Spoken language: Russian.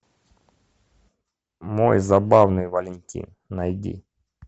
мой забавный валентин найди